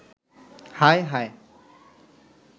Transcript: হায়, হায়